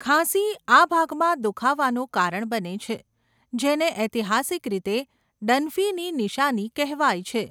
ખાંસી આ ભાગમાં દુખાવાનું કારણ બને છે, જેને ઐતિહાસિક રીતે ડનફીની નિશાની કહેવાય છે.